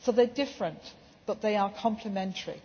same. So they are different, but they are complementary.